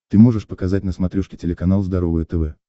ты можешь показать на смотрешке телеканал здоровое тв